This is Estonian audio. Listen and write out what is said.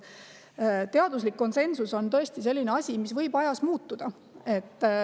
Teaduslik konsensus on tõesti selline asi, mis võib ajas muutuda.